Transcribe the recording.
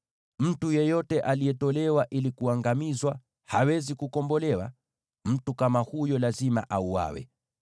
“ ‘Mtu yeyote aliyewekwa wakfu ili kuangamizwa, hawezi kukombolewa. Mtu kama huyo lazima auawe.